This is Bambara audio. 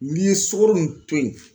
N'i ye sukoro nin to ye